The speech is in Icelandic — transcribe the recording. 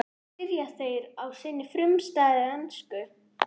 spyrja þeir á sinni frumstæðu ensku.